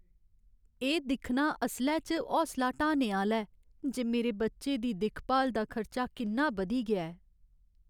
एह् दिक्खना असलै च हौसला ढ्हाने आह्‌ला ऐ जे मेरे बच्चे दी दिक्ख भाल दा खर्चा किन्ना बधी गेआ ऐ।